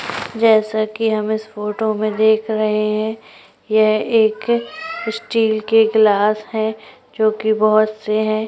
जैसा की हम इस फोटो में देख रहे है यह एक स्टील के गिलास है जो की बहोत से है।